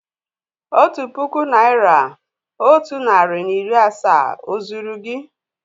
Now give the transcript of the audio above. Otu puku naị́ra otu narị na iri asaa ó zúru gị?